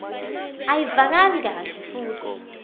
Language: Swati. ayivakali kahle futsi